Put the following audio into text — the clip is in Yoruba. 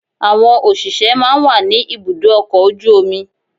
Àwọn òṣìṣẹ́ máa ń wà ní ibùdó ọkọ̀ ojú omi